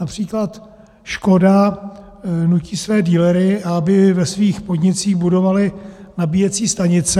Například Škoda nutí své dealery, aby ve svých podnicích budovali nabíjecí stanice.